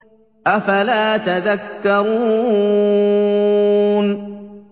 أَفَلَا تَذَكَّرُونَ